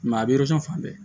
a bɛ fan bɛɛ